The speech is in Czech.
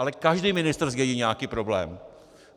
Ale každý ministr zdědí nějaký problém.